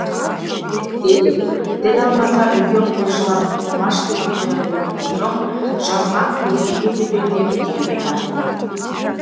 әйтсе де тіл алмаса үлкен қойшылар тоқымаш сыйлап қоятынын білген соң жазған қойтеке тепеңдеп түйеге тартты